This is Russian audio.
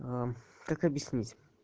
как объяснить